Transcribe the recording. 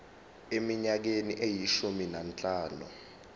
eminyakeni eyishumi nanhlanu